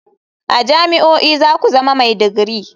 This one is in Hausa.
A jami'o'i za ku zama mai digiri.